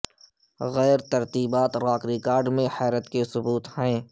غیر ترتیبات rock record میں حیرت کے ثبوت ہیں